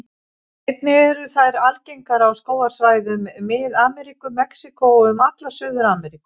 Einnig eru þær algengar á skógarsvæðum Mið-Ameríku, Mexíkó og um alla Suður-Ameríku.